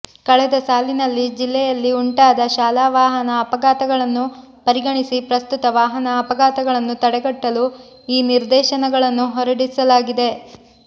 ಕಳೆದ ಸಾಲಿನಲ್ಲಿ ಜಿಲ್ಲೆಯಲ್ಲಿ ಉಂಟಾದ ಶಾಲಾ ವಾಹನ ಅಪಘಾತಗಳನ್ನು ಪರಿಗಣಿಸಿ ಪ್ರಸ್ತುತ ವಾಹನ ಅಪಘಾತಗಳನ್ನು ತಡೆಗಟ್ಟಲು ಈ ನಿರ್ದೇಶನಗಳನ್ನು ಹೊರಡಿಸಲಾಗಿದೆ